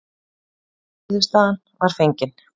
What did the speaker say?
Niðurstaðan var fengin.